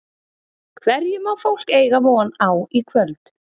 Hverju má fólk eiga von á í kvöld?